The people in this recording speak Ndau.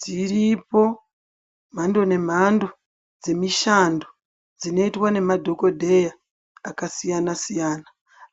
Dziripo mhando nemhando dzemishando dzinoitwa nemadhokodheya akasiyana siyana